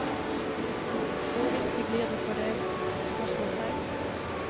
Hvor viktig blir det for deg? spørsmålstegn